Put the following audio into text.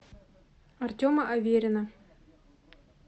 артема аверина